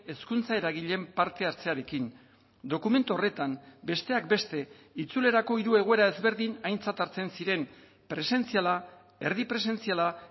hezkuntza eragileen parte hartzearekin dokumentu horretan besteak beste itzulerako hiru egoera ezberdin aintzat hartzen ziren presentziala erdi presentziala